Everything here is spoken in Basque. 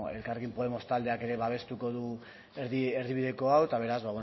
elkarrekin podemos taldeak ere babestuko du erdi erdibideko hau eta beraz